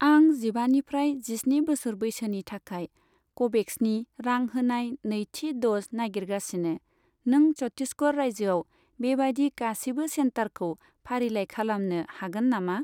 आं जिबानिफ्राय जिस्नि बोसोर बैसोनि थाखाय क'भेक्सनि रां होनाय नैथि द'ज नागिरगासिनो, नों छट्टिसगड़ रायजोआव बेबायदि गासिबो सेन्टारखौ फारिलाइ खालामनो हागोन नामा?